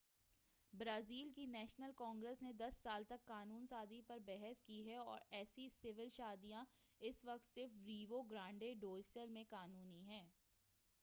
Brazil کی National Congress نے 10 سال تک قانون سازی پر بحث کی ہے اور ایسی سول شادیاں اس وقت صرف ریو گرانڈے ڈو سُل میں قانُونی ہیں